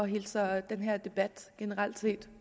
hilser den her debat